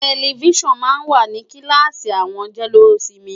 Tẹlifíṣàn máa ń wà ní kíláàsì àwọn jẹ́lósinmi.